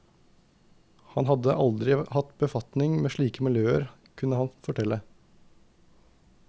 Han hadde aldri hatt befatning med slike miljøer kunne han fortelle.